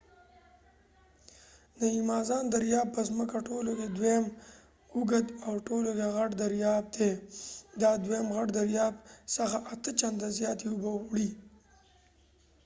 د ایمازان دریاب په زمکه ټولو کې دویم اوږد او ټولو کې غټ دریاب دی دا دویم غټ دریاب څخه 8 چنده زیاتې اوبه وړي